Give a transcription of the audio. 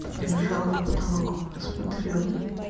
лежал в потолок смотрела